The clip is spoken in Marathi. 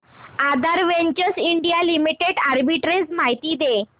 आधार वेंचर्स इंडिया लिमिटेड आर्बिट्रेज माहिती दे